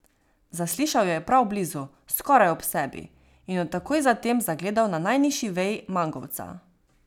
Zaslišal jo je prav blizu, skoraj ob sebi, in jo takoj zatem zagledal na najnižji veji mangovca.